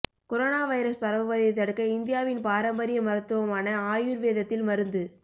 corona virus பரவுவதை தடுக்க இந்தியாவின் பாரம்பரிய மருத்துவமான ஆயுர் வேதத்தில் மருந்து